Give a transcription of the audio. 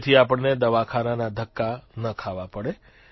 જેથી આપણને દવાખાનાના ધક્કા ન ખાવા પડે